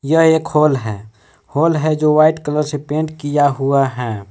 यह एक हॉल है हॉल है जो वाइट कलर से पेंट किया हुआ है।